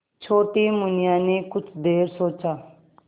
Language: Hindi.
छोटी मुनिया ने कुछ देर सोचा